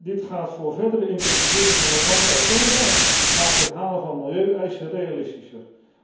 Dit gaat verdere intensivering van de landbouw tegen en maakt het halen van milieueisen realistischer.